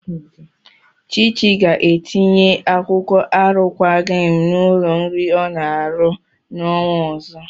Chichi ga-etinye akwụkwọ arụkwaghị m n'ụlọ nri ọ na-arụ n'ọnwa ọzọ.